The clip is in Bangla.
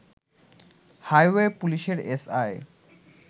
হাইওয়ে পুলিশের এসআই